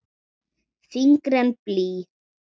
Þyngri en blý.